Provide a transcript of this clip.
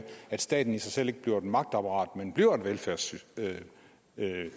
at staten i sig selv ikke bliver et magtapparat men bliver et velfærdssystem